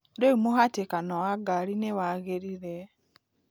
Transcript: Rĩu mũhatĩkano wa ngari ni wagiriĩre